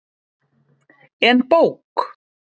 En bók?